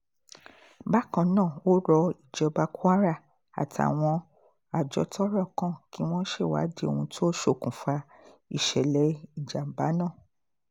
bákan náà ó rọ ìjọba kwara àtàwọn àjọ tọ́rọ̀ kan kí wọ́n ṣèwádìí ohun tó ṣokùnfà ìṣẹ̀lẹ̀ ìjàm̀bá náà